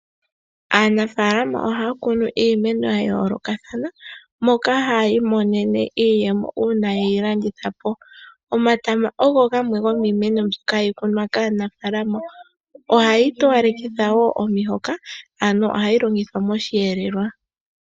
Aanafalama ohaya kunu iimeno ya yoolokathana moka haya imonene iiyemo uuna yeyi landithapo, omatama ogo gamwe gomiimeno mbyoka hayi kunwa kaanafalama, ohayi towalekitha woo omihoka ano ohayi longithwa moshi elelwa.